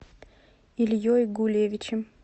ильей гулевичем